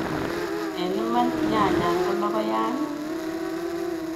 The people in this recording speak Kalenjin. Eng' iman nyanyan ko lokoyan?